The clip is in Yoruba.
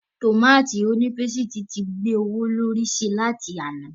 Tòmátì onípésìtì ti gbé owó lórí sí láti àná.